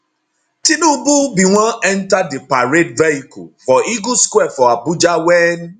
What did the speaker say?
tinubu bin wan enta di parade vehicle for eagle square for abuja wen